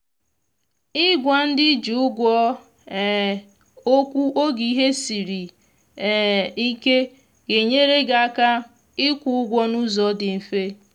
i gwa ndị ị ji ụgwọ um okwu oge ihe siri um ike ga enyere gị aka ị kwụ ụgwọ na ụzọ dị mfe